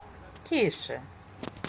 тише